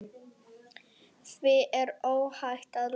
Því er óhætt að lofa.